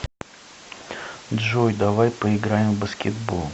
джой давай поиграем в баскетбол